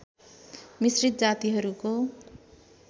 मिश्रित जातिहरूको